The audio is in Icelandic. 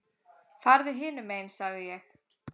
Farðu hinum megin sagði ég.